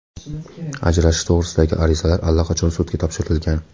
Ajrashish to‘g‘risidagi arizalar allaqachon sudga topshirilgan.